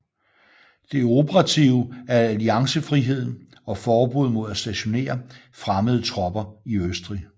Det operative er alliancefriheden og forbuddet mod at stationere fremmede tropper i Østrig